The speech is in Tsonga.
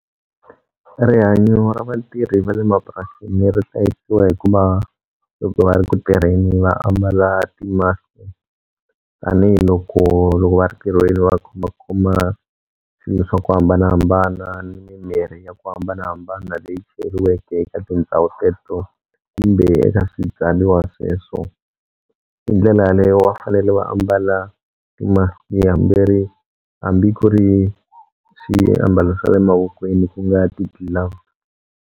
Rihanyo ra vatirhi vale mapurasini ri hlayisiwa hikuva loko va ri ku tirheni va ambala ti-mask-i tanihiloko loko va ri tirhweni va khomakhoma swilo swa ku hambanahambana ni mimirhi ya ku hambanahambana leyi cheriweke eka tindhawu teto kumbe eka swibyaliwa sweswo hi ndlela yaleyo va fanele va ambala ti-mask hambi ku ri swiambalo swa le mavokweni ku nga ti-gloves.